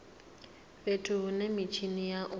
fhethu hune mitshini ya u